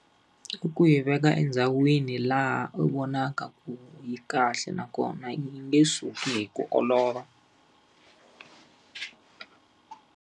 I ku yi veka endhawini laha u vonaka ku yi kahle nakona yi nge suki hi ku olova.